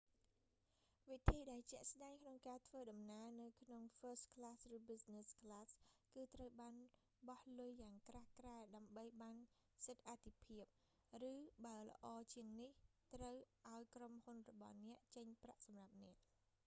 វិធីដែលជាក់ស្ដែងក្នុងការធ្វើដំណើរនៅក្នុង first class ឬ business class គឺត្រូវបោះលុយយ៉ាងក្រាស់ក្រែលដើម្បីបានសិទ្ធិអាទិភាព ឬបើល្អជាងនេះ ត្រូវឲ្យក្រុមហ៊ុនរបស់អ្នក ចេញប្រាក់សម្រាប់អ្នក